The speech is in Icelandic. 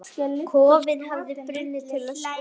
Kofinn hefði brunnið til ösku!